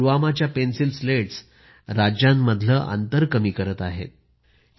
खरेतर पुलवामा च्या pencil slates राज्यांच्या मधली अंतर कमी करत आहेत